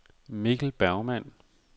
Mikkel Bergmann